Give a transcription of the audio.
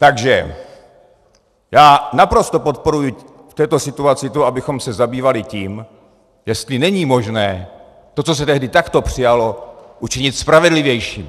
Takže já naprosto podporuji v této situaci to, abychom se zabývali tím, jestli není možné to, co se tehdy takto přijalo, učinit spravedlivějším.